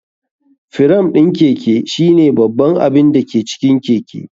Firam ɗin Keke shine babban abin da ke cikin keke.